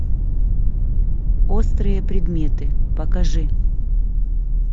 острые предметы покажи